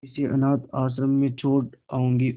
इसे अनाथ आश्रम में छोड़ जाऊंगी और